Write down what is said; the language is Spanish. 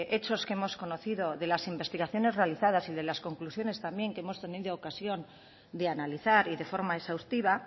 hechos que hemos conocido de las investigaciones realizadas y de las conclusiones también que hemos tenido ocasión de analizar y de forma exhaustiva